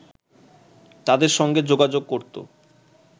তাদের সঙ্গে যোগাযোগ করত